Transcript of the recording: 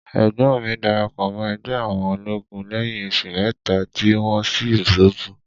Ẹ̀gbọ́n mi darapọ̀ mọ́ ẹgbẹ́ àwọn olóògùn lẹ́yìn oṣù mẹ́ta tí wọ́n ṣí ṣọ́ọ̀bù.